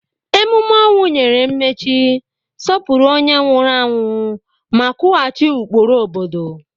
Emume ọnwụ nyere mmechi, sọpụrụ onye nwụrụ anwụ, ma kwughachi ụkpụrụ obodo.